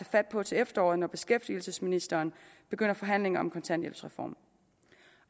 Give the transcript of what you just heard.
fat på til efteråret når beskæftigelsesministeren begynder forhandlinger om kontanthjælpsreform